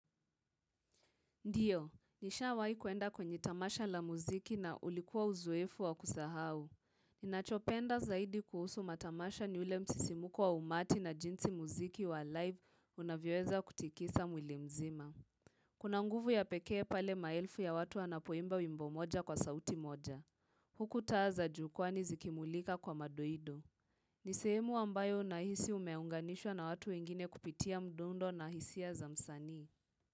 Ndio, nishawahi kuenda kwenye tamasha la muziki na ulikuwa uzoefu wa kusahau. Ninachopenda zaidi kuhusu matamasha ni ule msisimuko wa umati na jinsi muziki wa live unavyoeza kutikisa mwili mzima. Kuna nguvu ya pekee pale maelfu ya watu wanapoimba wimbo moja kwa sauti moja. Huku taa za jukwani zikimulika kwa madoido. Ni sehemu ambayo nahisi umeunganishwa na watu wengine kupitia mdundo na hisia za msanii.